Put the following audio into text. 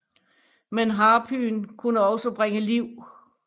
Men harpyen kunne også bringe liv